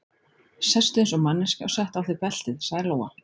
Sestu eins og manneskja og settu á þig beltið, sagði Lóa.